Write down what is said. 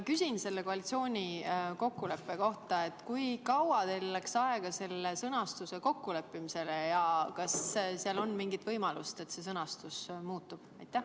Küsin selle koalitsiooni kokkuleppe kohta: kui kaua teil läks aega selle sõnastuse kokkuleppimisele ja kas on mingit võimalust, et see sõnastus muutub?